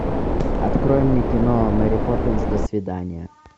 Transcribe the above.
открой мне кино мэри поппинс до свидания